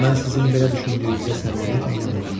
Mən sizin belə düşündüyünüzə səmimiyyətlə inanıram.